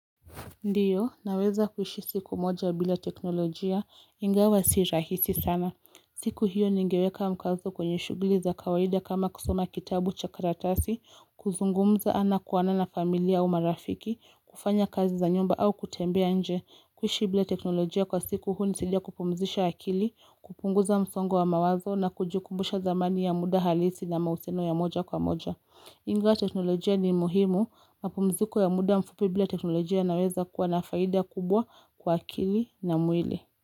Ndiyo, naweza kuishi siku moja bila teknolojia, ingawa si rahisi sana. Siku hiyo ningeweka mkazo kwenye shughuli za kawaida kama kusoma kitabu cha karatasi, kuzungumza ana kwa ana na familia au marafiki, kufanya kazi za nyumba au kutembea nje. Kuishi bila teknolojia kwa siku hunisaidia kupumzisha akili, kupunguza msongo wa mawazo na kujikumbusha thamani ya muda halisi na mahusiano ya moja kwa moja. Ingawa teknolojia ni muhimu, mapumziku ya muda mfupi bila teknolojia yanaweza kuwa na faida kubwa kwa akili na mwili.